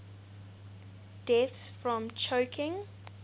deaths from choking